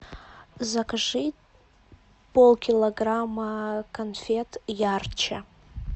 закажи полкилограмма конфет ярче